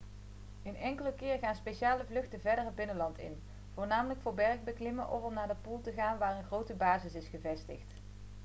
een enkele keer gaan speciale vluchten verder het binnenland in voornamelijk voor bergbeklimmen of om naar de pool te gaan waar een grote basis is gevestigd